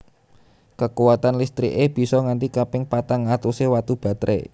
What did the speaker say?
Kekuwatan listriké bisa nganti kaping patang atusé watu batré